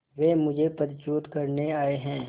वे मुझे पदच्युत करने आये हैं